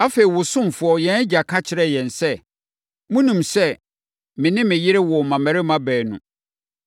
“Afei, wo ɔsomfoɔ, yɛn agya ka kyerɛɛ yɛn sɛ, ‘Monim sɛ me ne me yere woo mmammarima baanu.